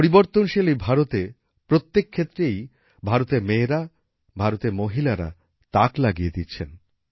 পরিবর্তনশীল এই ভারতে প্রত্যেক ক্ষেত্রেই ভারতের মেয়েরা ভারতের মহিলারা তাক লাগিয়ে দিচ্ছেন